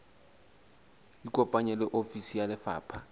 ikopanye le ofisi ya lefapha